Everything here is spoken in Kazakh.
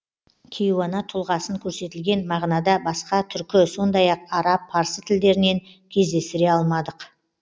кейуана тұлғасын көрсетілген мағынада басқа түркі сондай ақ араб парсы тілдерінен кездестіре алмадық